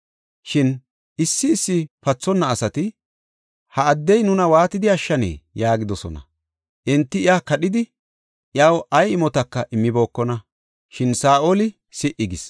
Shin issi issi pathonna asati, “Ha addey nuna waatidi ashshanee?” yaagidosona. Enti iya kadhidi, iyaw ay imotaka immibookona. Shin Saa7oli si77i gis.